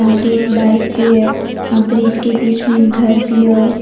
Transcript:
आगे एक बाइक भी हैं ब्रिज के बीच में घर भी है और--